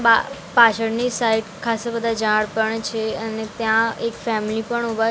બા પાછળની સાઇડ ખાસ્સા બધા ઝાડ પણ છે અને ત્યાં એક ફેમિલી પણ ઊભા--